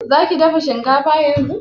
Za ki dafa shinkafa yanzu?